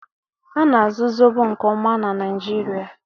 Ana-azụ Zobo nke ọma na Naịjirịa